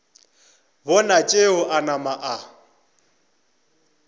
bona tšeo a napa a